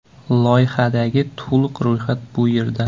Loyihadagi to‘liq ro‘yxat bu yerda .